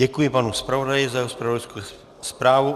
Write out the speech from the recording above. Děkuji panu zpravodaji za zpravodajskou zprávu.